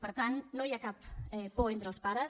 per tant no hi ha cap por entre els pares